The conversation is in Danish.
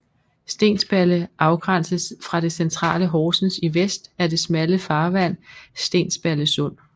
Stensballe afgrænses fra det centrale Horsens i vest af det smalle farvand Stensballe Sund